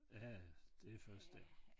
Ja ja det først dér